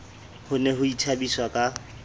ho ne ho ithabiswa ka